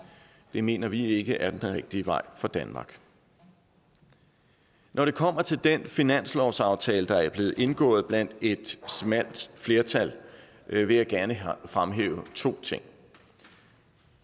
det mener vi ikke er den rigtige vej for danmark når det kommer til den finanslovsaftale der er blevet indgået blandt et smalt flertal vil jeg gerne fremhæve to ting